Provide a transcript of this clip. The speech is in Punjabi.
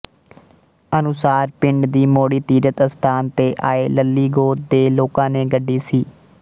ਅਨੁਸਾਰ ਪਿੰਡ ਦੀ ਮੋੜੀ ਤੀਰਥ ਅਸਥਾਨ ਤੇ ਆਏ ਲੱਲ੍ਹੀ ਗੋਤ ਦੇ ਲੋਕਾਂ ਨੇ ਗੱਡੀ ਸੀ